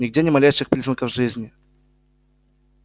нигде ни малейших признаков жизни